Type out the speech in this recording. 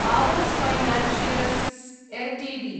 Aavas financiers Ltd